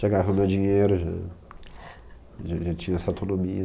Já agarrando dinheiro, já... Já tinha essa autonomia.